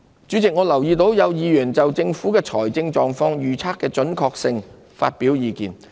主席，我留意到有議員就政府財政狀況預測的準確性發表意見。